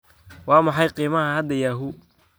Waa maxay qiimaha hadda yahoo?